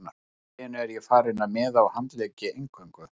Allt í einu er ég farinn að miða á handleggi eingöngu.